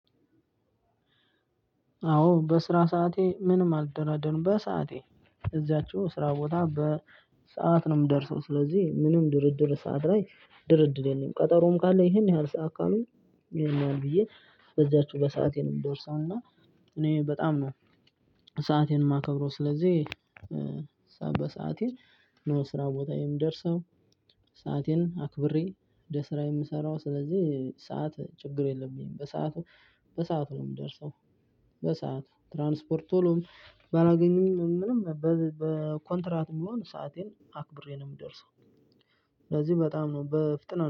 አዎ በስራ ሰዓቴ ምንም አልደራደርም በሰአቴ እዚያችሁ ስራ ቦታ በሰአት ነው የምደርሰው ስለዚህ ምንም ድርድር ሰዓት ላይ ድርድር የለም። ቀጠሮም ካለ ይሄን ያህል ሰዓት አካሉ ይሄን ያህል ብዬ በዛችሁ በሰአቴ እምደርሰውና። እኔ በጣም ነው ሰአቴን ማከብረው ስለዚህ። በሰአቴ ነው ስራ ቦታ የምደርሰው። ሰአቴን አክብሬ ወደ ስራ የምሰራው ስለዚህ ሰዓት ችግር የለብኝም። በሰአቱ በሰአቱ ነው የምደርሰው። በሰአት ትራንስፖርት ቶሎም ባላገኝም ምንም በኮንትራት ቢሆን ሰአቴን አክብሬ ነው የምደርሰው። ስለዚህ በጣም ነው በፍጥነት